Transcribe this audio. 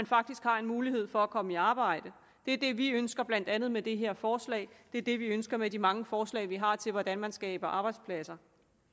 faktisk har en mulighed for at komme i arbejde det er det vi ønsker blandt andet med det her forslag det er det vi ønsker med de mange forslag vi har til hvordan man skaber arbejdspladser